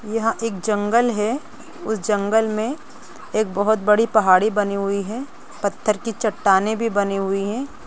यहाँ एक जंगल हैं उस जंगल में एक बहुत बड़ी पहाड़ी बनी हुई हैं पत्थर की चट्टानें भी बनी हुई हैं।